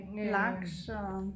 Laks og